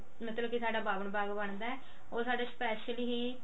ਮਤਲਬ ਕੀ ਸਾਡਾ ਬਾਵਨ bag ਬੰਦਾ ਉਹ ਸਾਡਾ special ਹੀ